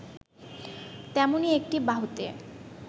তেমনি একটি বাহুতে